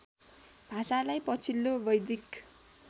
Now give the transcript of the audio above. भाषालाई पछिल्लो वैदिक